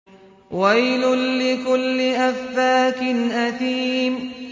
وَيْلٌ لِّكُلِّ أَفَّاكٍ أَثِيمٍ